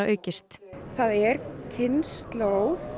aukist það er kynslóð